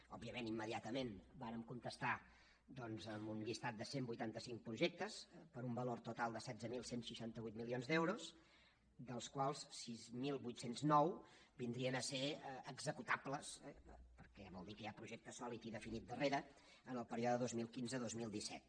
òbviament immediatament vàrem contestar amb un llistat de cent i vuitanta cinc projectes per un valor total de setze mil cent i seixanta vuit milions d’euros dels quals sis mil vuit cents i nou vindrien a ser executables eh perquè vol dir que hi ha projecte sòlid i definit darrere en el període dos mil quinze dos mil disset